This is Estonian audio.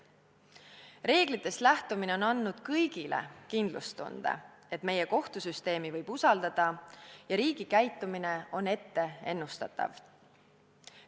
Reeglitest lähtumine on andnud kõigile kindlustunde, et meie kohtusüsteemi võib usaldada ja riigi käitumine on ennustatav.